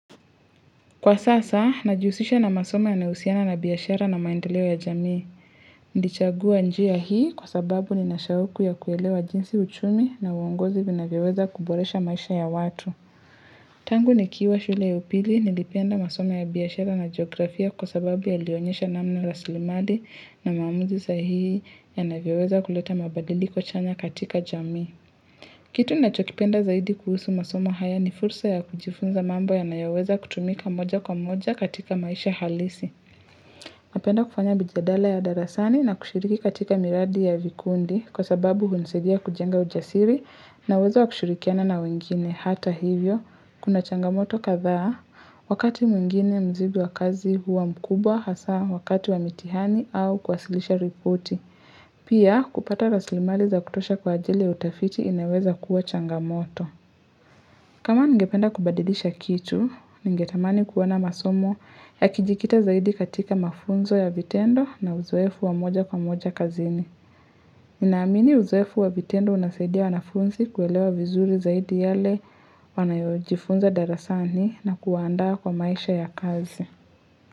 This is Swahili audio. Kwa sasa, najihusisha na masomo yanayo husiana na biashara na maendeleo ya jamii. Nilichagua njia hii kwa sababu nina shauku ya kuelewa jinsi uchumi na uongozi vinavyo weza kuboresha maisha ya watu. Tangu ni kiwa shule ya pili, nilipenda masomo ya biashara na geografia kwa sababu yalionyesha namna rasili mali na maamuzi sahihi yanavyo weza kuleta mabadiliko chanya katika jamii. Kitu ninacho kipenda zaidi kuhusu masomo haya ni fursa ya kujifunza mambo yanayo weza kutumika moja kwa moja katika maisha halisi. Napenda kufanya mijadala ya darasani na kushiriki katika miradi ya vikundi kwa sababu hunisaidia kujenga ujasiri naweza wa kushirikiana na wengine hata hivyo. Kuna changamoto kadhaa, wakati mwingine mzigo wa kazi huwa mkubwa hasa wakati wa mitihani au kwasilisha ripoti. Pia kupata rasili mali za kutosha kwa ajili ya utafiti inaweza kuwa changamoto. Kama ningependa kubadidisha kitu, ningetamani kuona masomo ya kijikita zaidi katika mafunzo ya vitendo na uzoefu wa moja kwa moja kazini. Nina amini uzoefu wa vitendo unasaidia wanafunzi kuelewa vizuri zaidi yale wanayojifunza darasani na kuwaanda kwa maisha ya kazi.